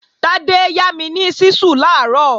Tádé yá mi ni ṣísù làárọ̀